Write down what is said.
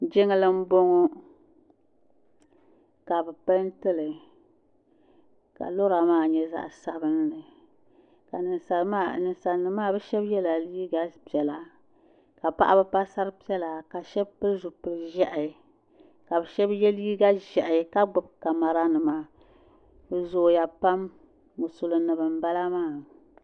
Jiŋli n bɔŋɔ . kabɛ pɛɛntili. kalɔra maa nyɛ zaɣi sabinli. ka ninsalinima maa bi shab yela, liiga piɛla. ka paɣaba pa dari piɛla ka bi shabi pilizipili ʒɛhi kabi shebi ye liiga ʒɛhi kagbubi camara nima, bi zooya pam musulim nim n bala maa